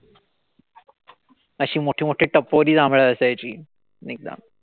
अशी मोठी-मोठी टपोरी जांभळं असायची एकदम.